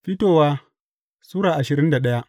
Fitowa Sura ashirin da daya